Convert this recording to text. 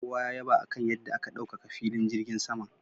Kowa ya yaba a kan yadda aka ɗaukaka filin jirgin saman.